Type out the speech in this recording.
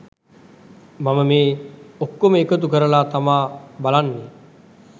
මම මේ ඔක්කොම එකතු කරලා තමා බලන්නේ